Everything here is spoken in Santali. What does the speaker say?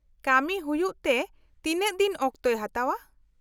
-ᱠᱟᱹᱢᱤ ᱦᱩᱭᱩᱜᱛᱮ ᱛᱤᱱᱟᱹᱜ ᱫᱤᱱ ᱚᱠᱛᱚ ᱦᱟᱛᱟᱣᱼᱟ ?